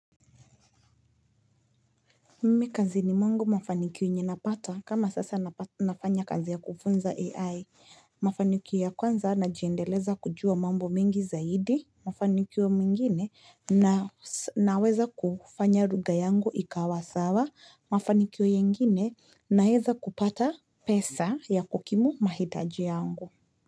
Mimi kazini mwangu mafanikio yenye napata kama sasa nafanya kazi ya kufunza AI mafanikio ya kwanza najiendeleza kujua mambo mengi zaidi mafanikio mengine naweza kufanya lugha yangu ikawa sawa mafanikio yengine naeza kupata pesa ya kukimu mahitaji yangu.